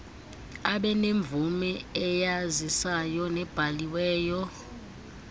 abenemvume eyazisayo nebhaliweyo